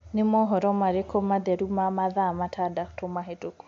ni mohoro marĩkũ matheru ma mathaa matandatu mahituku